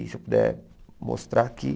Se eu puder mostrar aqui.